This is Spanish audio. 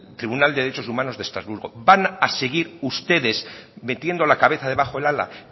tribunal de derechos humanos de estrasburgo van a seguir ustedes metiendo la cabeza debajo del ala